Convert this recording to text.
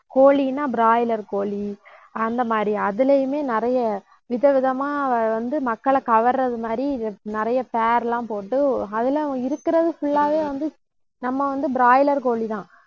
கோழின்னா, broiler கோழி அந்த மாதிரி அதிலேயுமே நிறைய விதவிதமா வந்து, மக்களைக் கவர்றது மாதிரி நிறைய எல்லாம் போட்டு அதில இருக்கிறது full ஆவே வந்து நம்ம வந்து broiler கோழிதான்